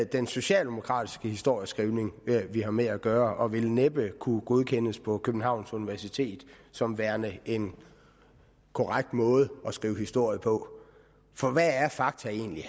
den socialdemokratiske historieskrivning vi har med at gøre og den vil næppe kunne godkendes på københavns universitet som værende en korrekt måde at skrive historie på for hvad er fakta egentlig